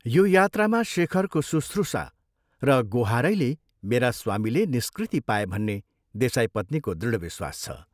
यो यात्रामा शेखरको सुश्रुषा र गोहारैले मेरा स्वामीले निष्कृति पाए भन्ने देसाई पत्नीको दृढ विश्वास छ।